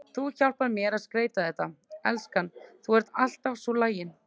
Þú hjálpar mér að skreyta þetta, elskan, þú ert alltaf svo lagin.